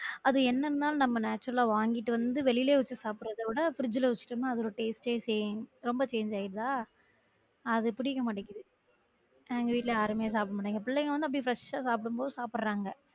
அது என்னன்னா நம்ம natural லா வாங்கிட்டு வந்து வெளில வச்சி சாப்டுறத விட fridge ல வச்சிட்டோம்னா அதோட taste ஏ change ரொம்ப change ஆயுடுதா அது பிடிக்க மாட்டிக்குது வீட்டுல யாருமே சாப்பிட மாட்டிகாங்க பிள்ளைங்க வந்து அப்படி fresh ஆ சாப்பிடும் போது சப்பிட்றாங்க